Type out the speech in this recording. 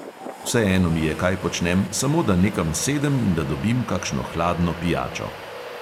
Vseeno mi je, kaj počnem, samo da nekam sedem in da dobim kakšno hladno pijačo.